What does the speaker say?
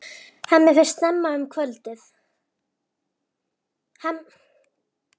Hemmi fer út snemma um kvöldið.